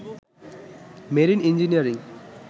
marine engineering